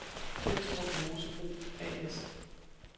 Pindstrup Mosebrug A/S